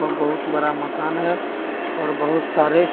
वह बहुत बड़ा मकान है और बहुत सारे --